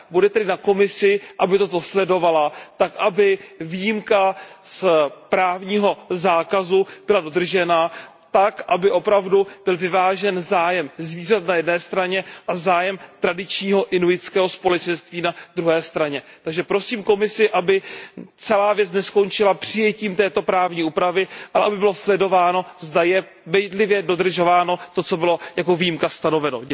Bude tedy na Komisi, aby toto sledovala, tak aby výjimka z právního zákazu byla dodržena a aby opravdu byl vyvážen zájem zvířat na jedné straně a zájem tradičního inuitského společenství na druhé straně. Takže prosím Komisi, aby celá věc neskončila přijetím této právní úpravy, ale aby bylo sledováno, zda je bedlivě dodržováno to, co bylo jako výjimka stanoveno.